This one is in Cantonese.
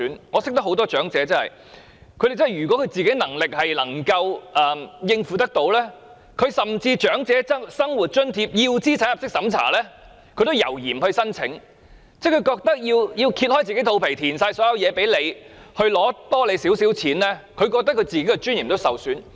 我認識不少長者，如果本身能力可以應付，甚至要資產入息審查的長者生活津貼也猶豫不申請，因為他們覺得為了多拿少許津貼，要"掀起肚皮"提供所有資料，令自己的尊嚴受損。